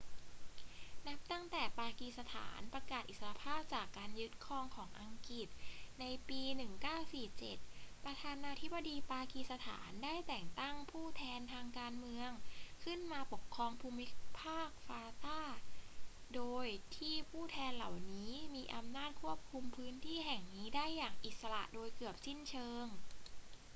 นับตั้งแต่ปากีสถานประกาศอิสรภาพจากการยึดครองของอังกฤษในปี 1947 ประธานาธิบดีปากีสถานได้แต่งตั้ง ผู้แทนทางการเมือง ขึ้นมาปกครองภูมิภาค fata โดยที่ผู้แทนเหล่านี้มีอำนาจควบคุมพื้นที่แห่งนี้ได้อย่างอิสระโดยเกือบสิ้นเชิง